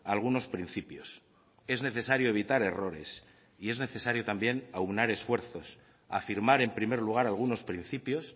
algunos principios es necesario evitar errores y es necesario también aunar esfuerzos afirmar en primer lugar algunos principios